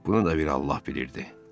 Bunu da bir Allah bilirdi.